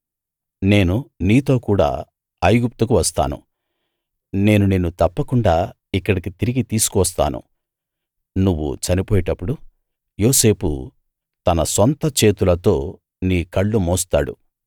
నేను నీతో కూడా ఐగుప్తు వస్తాను నేను నిన్ను తప్పకుండా ఇక్కడికి తిరిగి తీసుకువస్తాను నువ్వు చనిపోయేటప్పుడు యోసేపు తన సొంత చేతులతో నీ కళ్ళు మూస్తాడు